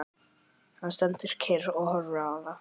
Hann stendur kyrr og horfir á hana.